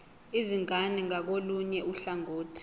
izingane ngakolunye uhlangothi